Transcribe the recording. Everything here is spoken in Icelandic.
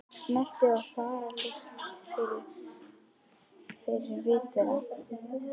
Seltu- og þaralykt fyllir vit þeirra.